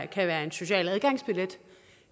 kan være en social adgangsbillet